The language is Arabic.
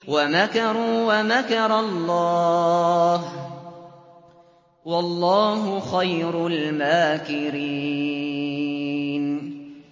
وَمَكَرُوا وَمَكَرَ اللَّهُ ۖ وَاللَّهُ خَيْرُ الْمَاكِرِينَ